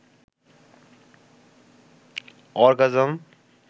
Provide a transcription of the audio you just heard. orgasm